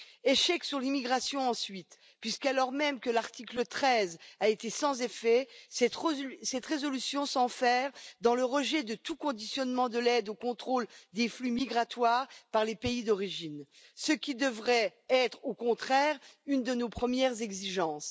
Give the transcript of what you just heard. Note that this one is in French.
L'échec porte ensuite sur l'immigration, puisque, alors même que l'article 13 a été sans effet, cette résolution s'enferre dans le rejet de tout conditionnement de l'aide au contrôle des flux migratoires par les pays d'origine, ce qui devrait être, au contraire, une de nos premières exigences.